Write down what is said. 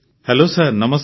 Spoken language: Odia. ହେଲୋ ସାର୍ ନମସ୍କାର